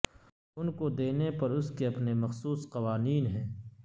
ان کو دینے پر اس کے اپنے مخصوص قوانین ہیں